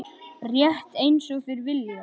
Rétt einsog þeir vilja.